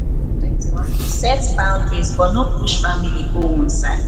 set boundary but no push family go one side